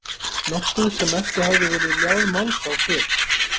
Nokkuð sem ekki hafði verið ljáð máls á fyrr.